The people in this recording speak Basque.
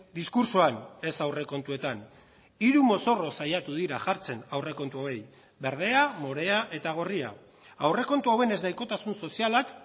diskurtsoan ez aurrekontuetan hiru mozorro saiatu dira jartzen aurrekontuei berdea morea eta gorria aurrekontu hauen eznahikotasun sozialak